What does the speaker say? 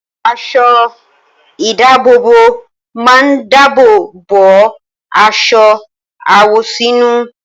Aṣọ-ìdáàbòbò máa ń dáàbò bo aṣọ àwọ̀sínú.